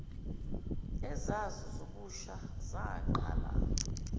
ezazo zobusha zaqala